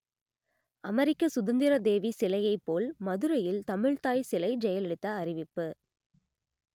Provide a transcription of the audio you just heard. அமெரிக்க சுதந்திரதேவி சிலையைப் போல் மதுரையில் தமிழ்த்தாய் சிலை ஜெயலலிதா அறிவிப்பு